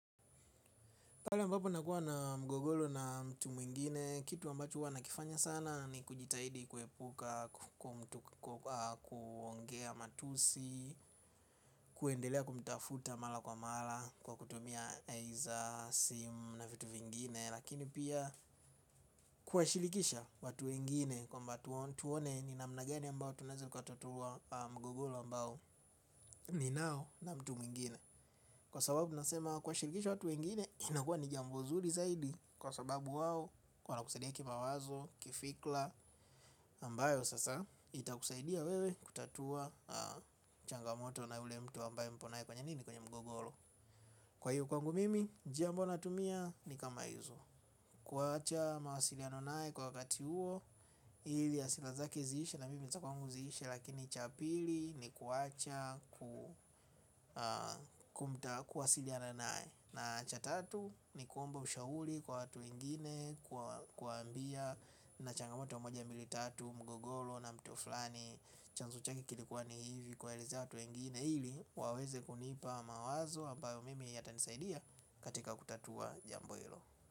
Pale ambapo nakuwa na mgogoro na mtu mwingine, kitu ambacho huwa nakifanya sana ni kujitahidi kuepuka, kuongea matusi, kuendelea kumtafuta mara kwa mara kwa kutumia laini za simu na vitu vingine, lakini pia kuwashirikisha watu wengine kwamba tuone ni namna gani ambao tunaweza tukatatua mgogoro ambao ninao na mtu mwingine. Kwa sababu nasema kuwashirikisha watu wengine inakuwa ni jambo zuri zaidi kwa sababu wao wanakusaidia kimawazo, kifikra, ambayo sasa itakusaidia wewe kutatua changamoto na yule mtu ambayo mpo naye kwenye nini, kwenye mgogoro. Kwa hiyo kwangu mimi jambo natumia ni kama hizo. Kuacha mawasiliano naye kwa wakati huo. Ili hasira zake ziishe na mimi za kwangu ziishe lakini cha pili ni kuwacha kumta, kuwasiliano naye. Na cha tatu, ni kuomba ushauri kwa watu wengine kwa kuwaambia nina changamoto wa moja mbili tatu mgogoro na mtu fulani. Chanzo chake kilikuwa ni hivi kuwaelezea watu wengine ili waweze kunipa mawazo ambayo mimi yatanisaidia katika kutatua jambo hilo.